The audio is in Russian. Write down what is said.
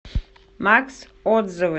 макс отзывы